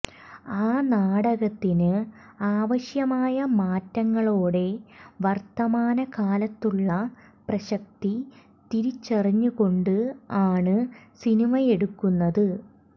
ആ നാടകത്തിന് ആവശ്യമായ മാറ്റങ്ങളോടെ വർത്തമാന കാലത്തുളള പ്രസക്തി തിരിച്ചറിഞ്ഞുകൊണ്ട് ആണ് സിനിമയെടുക്കുന്നത്